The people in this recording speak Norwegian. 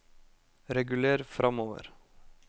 reguler framover